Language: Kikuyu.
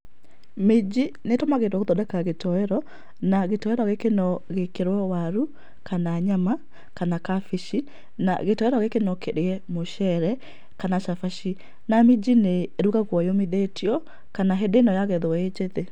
Minji nĩ ĩtũmagĩrwo gũthondeka gĩtoero, na gĩtoero gĩkĩ no gĩkĩrwo waru, kana nyama, kana kabici, na gĩtoero gĩkĩ no kĩrĩe mũcere, kana cabaci na minji nĩ ĩrugagwo yũmithĩtio, kana hĩndĩ ĩno yagethwo ĩ njĩthĩ.